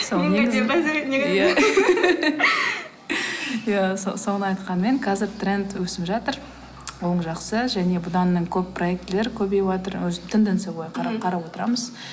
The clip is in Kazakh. иә соны айтқанмен қазір тренд өсіп жатыр ол жақсы және бұдан мен көп проектілер көбейіватыр тенденция бойы қарап отырамыз